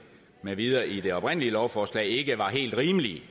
med videre i det oprindelige lovforslag ikke var helt rimelige